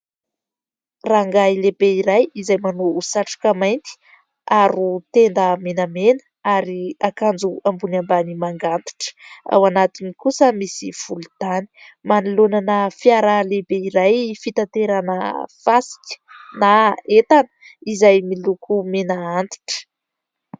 Rangahy lehibe iray: izay manao satroka mainty, aro tenda menamena ary akanjo ambony ambany manga antitra, ao anatiny kosa misy volontany, manoloana na fiara lehibe iray fitanterana fasika na entana izay miloko mena antitra.